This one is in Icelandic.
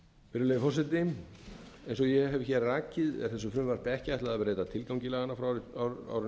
virðulegi forseti eins og ég hef rakið er þessu frumvarpi ekki ætlað að beita tilgangi laganna frá árinu tvö